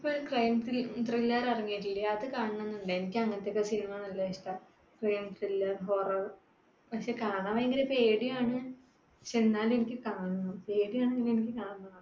ഇപ്പൊ crime thriller ഇറങ്ങിയിട്ടില്ലേ. അത് കാണണന്നുണ്ട്. എനിക്ക് അങ്ങനത്തെയൊക്കെ cinema നല്ല ഇഷ്ടാ. crime thriller, horror. പക്ഷെ കാണാൻ ഭയങ്കര പേടിയാണ്. എന്നാലും എനിക്ക് കാണണം. പേടിയാണെങ്കിലും എനിക്ക് കാണണം.